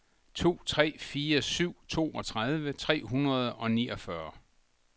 to tre fire syv toogtredive tre hundrede og niogfyrre